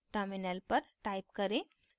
terminal पर type करें